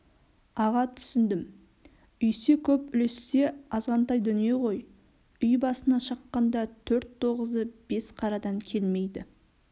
аға түсіндім үйсе көп үлессе азғантай дүние ғой үй басына шаққанда төрт тоғызы бес қарадан келмейді